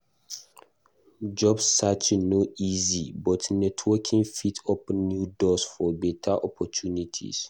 Job searching no easy, but networking fit open new doors for beta opportunities.